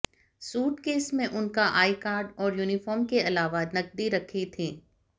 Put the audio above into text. suitcase में उनका I card और यूनीफार्म के अलावा नकदी रखी थी